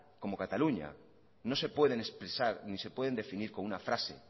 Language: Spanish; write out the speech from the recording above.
como cataluña no se pueden expresar ni se pueden definir con una frase